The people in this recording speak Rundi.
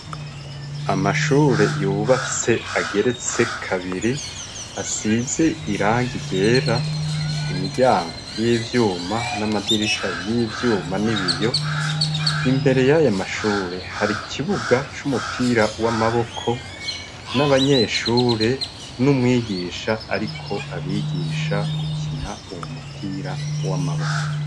Amashure yubatse ageretse kabiri asize irangi ryera imiryango y'ivyuma n'amadirisha y'ivyuma n'ibiyo imbere y'ayamashure hari ikibuga c'umupira w'amaboko n'abanyeshure n'umwigisha, ariko abigisha gukina uwo mupira w'amaboko.